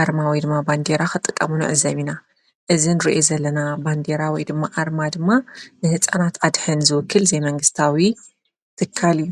ኣርማ ወይ ድማ ባንዴራ ኽጥቀቡ ንዕዘብ ኢና፡፡ እዚ ንሪኦ ዘለና ባንዴራ ወይ ድማ ኣርማ ድማ ንሕፃናት ኣድሕን ዝውክል ዘይመንግስታዊ ትካል እዩ፡፡